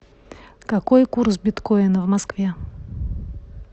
какой курс биткоина в москве